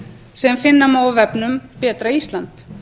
sem finna má á vefnum betra ísland